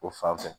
O fan fɛ